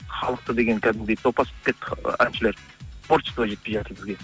халықты деген кәдімгідей топас болып кетті ы әншілер творчество жетпей жатыр бізге